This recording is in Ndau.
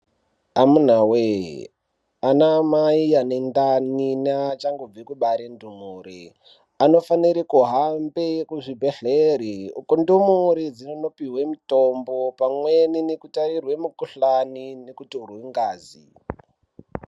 Amuna wee, ana mai ane ndani neachangobve kubare ndumure anofanire kuhambe kuzvibhedhleya ,uku ndumure dzinondopihwe mutombo pamwe nekutairwe mikhuhlani uri mungazi.